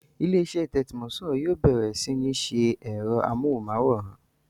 Ilé-iṣẹ́ Thermocool yóò bẹ̀rẹ̀ sí ní ṣe ẹ̀rọ amóhùnmáwòrán